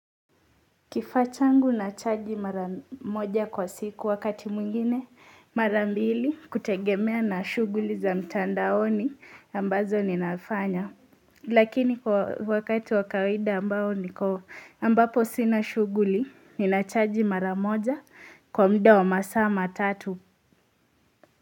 Kifaa changu nachaji mara moja kwa siku wakati mwingine, mara mbili kutegemea na shuguli za mtandaoni ambazo ninafanya. Lakini kwa wakati wa kawaida ambapo sina shuguli, ninachaji mara moja kwa muda wa masaa matatu.